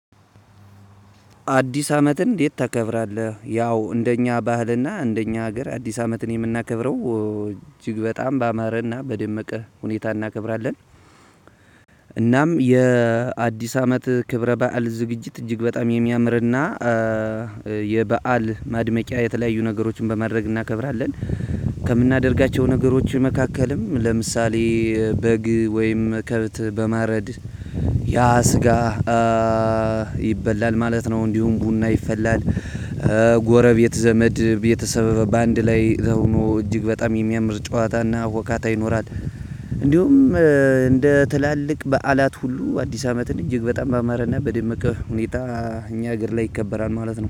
አዲስ አመትን እንዴት ታከብራለህ? ያው እንደኛ ባህልና እንደኛ ሀገር አዲስ አመትን የምናከብረው እጅግ በጣም ባማረና በደመቀ ሁኔታ እናከብራለን። እናም የአዲስ አመት ክብረ በዓል ዝግጅት እጅግ በጣም የሚያምርና እ የበአል ማድመቂያ የተለያዩ ነገሮችን በማድረግ እናከብራለን። ከምናደርጋቸው ነገሮች መካከልም ለምሳሌ በግ ወይም ከብት በማረድ ያ ስጋ እ ይበላል ማለት ነው። እንዲሁም ቡና ይፈላል። ጎረቤት ዘመድ ቤተሰብ በአንድ ላይ ተኹኖ እጅግ በጣም የሚያምር ጨዋታና ሁካታ ይኖራል። እንዲሁም እ እንደ ትላልቅ በዓላት ሁሉ አዲስ አመትን እጅግ በጣም ባመረና በደመቀ ሁኔታ እኛ ሀገር ላይ ይከበራል ማለት ነው